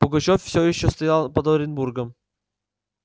пугачёв всё ещё стоял под оренбургом